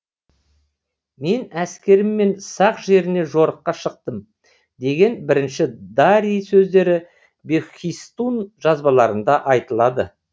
мен әскеріммен сақ жеріне жорыққа шықтым деген бірінші дарий сөздері бехистун жазбаларында айтылады